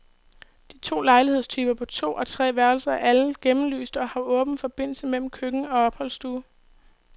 De to lejlighedstyper på to og tre værelser er alle gennemlyste og har åben forbindelse mellem køkken og opholdsstue.